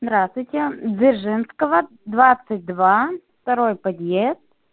здравствуйте дзержинского двадцать два второй подъезд